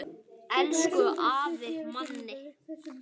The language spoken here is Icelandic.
Elsku afi Manni.